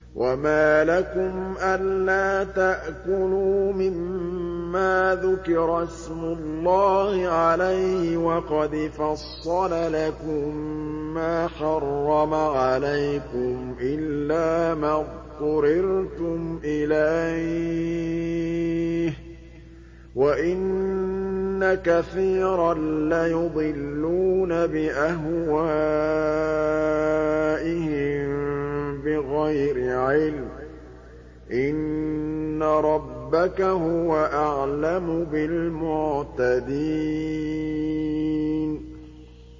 وَمَا لَكُمْ أَلَّا تَأْكُلُوا مِمَّا ذُكِرَ اسْمُ اللَّهِ عَلَيْهِ وَقَدْ فَصَّلَ لَكُم مَّا حَرَّمَ عَلَيْكُمْ إِلَّا مَا اضْطُرِرْتُمْ إِلَيْهِ ۗ وَإِنَّ كَثِيرًا لَّيُضِلُّونَ بِأَهْوَائِهِم بِغَيْرِ عِلْمٍ ۗ إِنَّ رَبَّكَ هُوَ أَعْلَمُ بِالْمُعْتَدِينَ